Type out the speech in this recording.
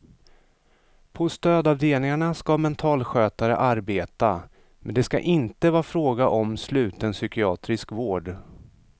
På stödavdelningarna ska mentalskötare arbeta, men det ska inte vara fråga om sluten psykiatrisk vård.